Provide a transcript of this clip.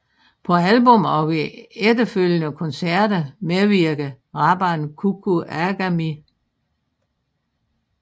På albummet og ved efterfølgende koncerter medvirkede rapperen Kuku Agami